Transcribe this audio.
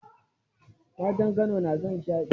Matan Kano na son shade.